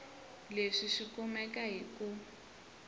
leswi swi kumeka hi ku